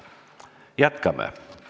Jätkame.